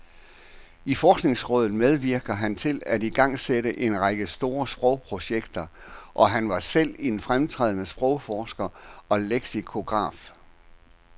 I forskningsrådet medvirkede han til at igangsætte en række store sprogprojekter, og han var selv en fremtrædende sprogforsker og leksikograf.